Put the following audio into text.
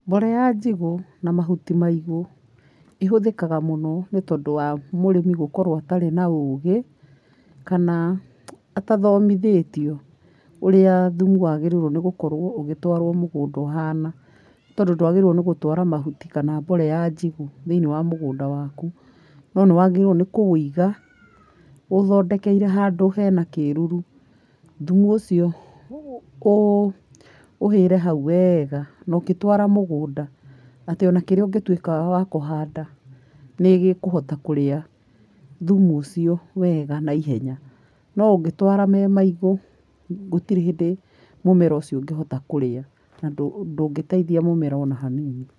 Mbolea njigũ na mahuti maigũ ĩhũthĩkaga mũno nĩ tondũ wa mũrĩmi gũkorwo atarĩ na ũgĩ kana atathomithĩtio ũrĩa thumu wagĩrĩirwo nĩ gũkorwo ũgĩtwarwo mũgũnda ũhana, tondũ ndwagĩrĩirwo nĩ gũtwara mahuti kana mbolea njigũ thĩinĩ wa mũgũnda waku, no nĩ wagĩrĩirwo nĩ kũwoiga ũũthondekeire handũ hena kĩruru, thumu ũcio ũũ ũhĩre hau wega no gĩtwara mũgũnda atĩ ona kĩrĩa ũngĩtuĩka wa kũhanda nĩgĩkũhota kũrĩa thumu ũcio wega na ihenya no ũngĩtwara w mũigũ gũtirĩ hĩndĩ mũmera ũcio ũngĩhota kũrĩa na ndũngĩteithia mũmera ona hanini.